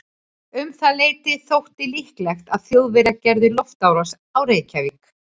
Um það leyti þótti líklegt að Þjóðverjar gerðu loftárás á Reykjavík.